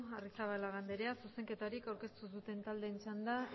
arrizabalaga andrea zuzenketarik aurkeztu duten taldeen txanda